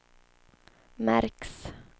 märks